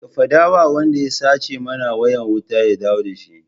Ka faɗa wa wanda ya sace mana wayan wuta ya dawo da shi!